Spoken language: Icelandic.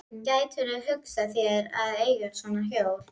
Gætirðu hugsað þér að eiga svona hjól?